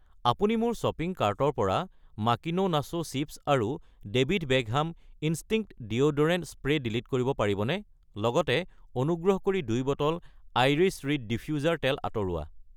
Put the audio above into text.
আপুনি মোৰ শ্বপিং কাৰ্টৰ পৰা মাকিনো নাছো চিপ্ছ আৰু David Beckham instinct deodorant spray delete কৰিব পাৰিবনে? লগতে অনুগ্ৰহ কৰি 2 বটল আইৰিছ ৰিড ডিফ্য়ুজাৰ তেল আঁতৰোৱা।